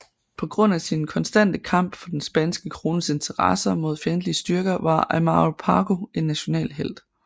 På grund af sin konstante kamp for den spanske krones interesser mod fjendtlige styrker var Amaro Pargo en national helt